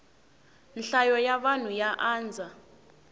nhlayo ya vanhu ya andza